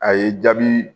A ye jaabi